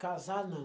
Casar, não.